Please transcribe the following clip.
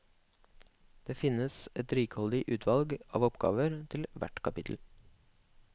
Det finnes et rikholdig utvalg av oppgaver til hvert kapittel.